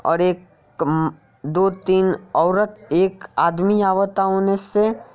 ओर एक अं दो तीन ओरत एक आदमी अवता ऊ ।